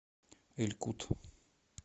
эль кут